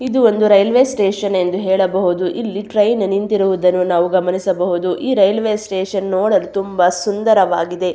ಇದು ಒಂದು railway station ಎಂದು ಹೇಳಬಹುದು ಇಲ್ಲಿ ಟ್ರೈನ್ ನಿಂತಿರುವುದನ್ನು ನಾವು ಗಮನಿಸಬಹುದು ಈ ರೈಲ್ವೆ ಸ್ಟೇಷನ್ ನೋಡಲು ತುಂಬಾ ಸುಂದರವಾಗಿದೆ.